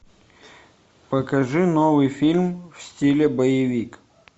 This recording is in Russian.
покажи новый фильм в стиле боевик